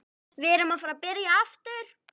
Við erum að fara að byrja aftur.